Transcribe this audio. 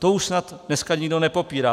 To už snad dneska nikdo nepopírá.